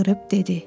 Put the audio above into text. Çığırdıb dedi: